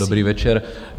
Dobrý večer.